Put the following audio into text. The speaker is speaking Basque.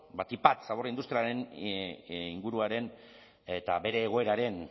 batik bat zabor industrialaren inguruaren eta bere egoeraren